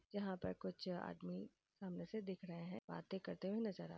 यहाँ पर कुछ आदमी सामने से दिख रहे हैं। बाते करते हुए नजर आ --